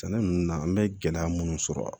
Sɛnɛ nunnu na an bɛ gɛlɛya minnu sɔrɔ a la